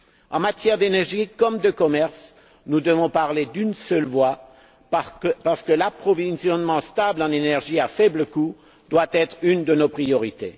En matière d'énergie comme de commerce, nous devons parler d'une seule voix parce que l'approvisionnement stable en énergie à faible coût doit être une de nos priorités.